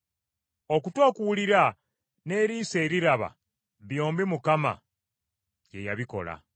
Okutu okuwulira n’eriiso eriraba byombi Mukama ye y’abikola.